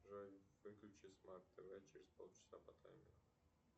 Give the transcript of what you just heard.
джой выключи смарт тв через полчаса по таймеру